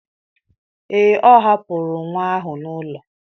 Ee, ọ hapụrụ nwa ahụ n'ụlọ.